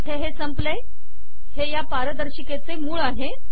इथे हे संपले हे या पारदर्शिकेचे मूळ आहे